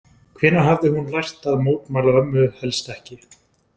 Hvenær hafði hún lært að mótmæla ömmu helst ekki?